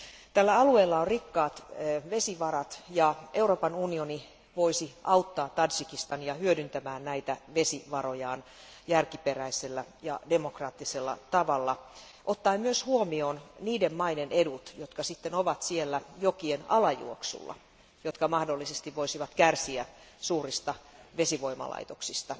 Tällä alueella on rikkaat vesivarat, ja Euroopan unioni voisi auttaa Tadžikistania hyödyntämään näitä vesivarojaan järkiperäisellä ja demokraattisella tavalla ottaen huomioon myös niiden maiden edut, jotka ovat jokien alajuoksulla ja jotka mahdollisesti voisivat kärsiä suurista vesivoimalaitoksista.